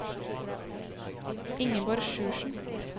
Ingeborg Sjursen